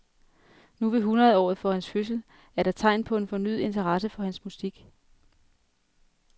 Nu ved hundredeåret for hans fødsel er der tegn på en fornyet interesse for hans musik.